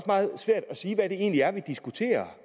meget svært at sige hvad det egentlig er vi diskuterer